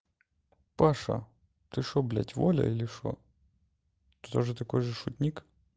паша ты что блять воля или что ты тоже такой же шутник